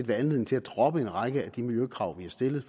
være anledning til at droppe en række af de miljøkrav vi har stillet